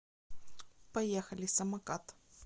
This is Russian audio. поехали самокат